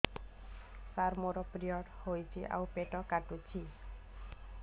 ସାର ମୋର ପିରିଅଡ଼ ହେଇଚି ଆଉ ପେଟ କାଟୁଛି